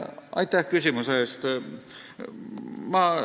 Aitäh küsimuse eest!